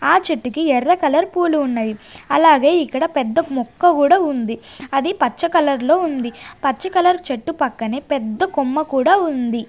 ఆ చెట్టుకి ఎర్ర కలర్ పూలు ఉన్నవి అలాగే ఇక్కడ పెద్ద మొక్క కూడా ఉంది అది పచ్చ కలర్ లో ఉంది పచ్చ కలర్ చెట్టు పక్కనే పెద్ద కొమ్మ కూడా ఉంది.